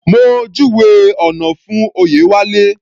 Mo júwèé ọ̀nà fún Oyewale.